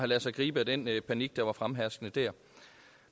ladet sig gribe af den panik der var fremherskende der